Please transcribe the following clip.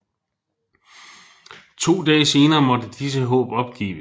To dage senere måtte disse håb opgives